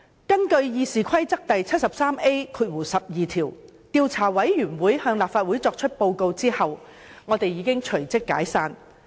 根據《議事規則》第 73A 條，調查委員會向立法會作出報告後已隨即解散。